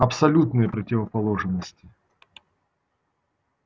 абсолютные противоположности